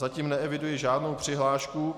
Zatím neeviduji žádnou přihlášku.